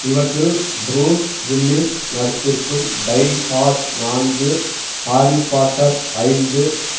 இவற்றில் Bruce Willis நடித்திருக்கும் Die Hard நான்கு ஹாரிபாட்டர் ஐந்து